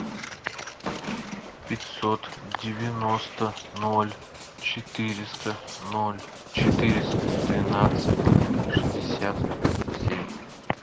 пятьсот девяносто ноль четыреста ноль четыреста двенадцать шестьдесят семь